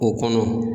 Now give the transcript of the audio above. O kɔnɔ